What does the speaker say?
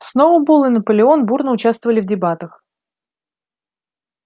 сноуболл и наполеон бурно участвовали в дебатах